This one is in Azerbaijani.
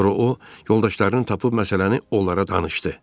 Sonra o yoldaşlarını tapıb məsələni onlara danışdı.